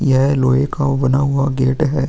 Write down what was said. यह लोहे का वो बना हुआ गेट है।